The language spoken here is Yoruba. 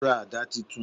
O ra àdá titun